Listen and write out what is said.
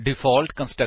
ਅਤੇ ਕੰਸਟਰਕਟਰ ਨੂੰ ਬਣਾਉਣਾ